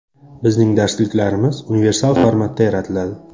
Bizning darsliklarimiz universal formatda yaratiladi.